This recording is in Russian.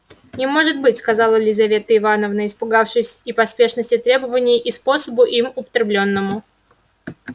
не может быть сказала лизавета ивановна испугавшись и поспешности требований и способу им употреблённому